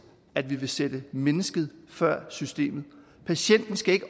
at vi vil sætte mennesket før systemet patienten skal ikke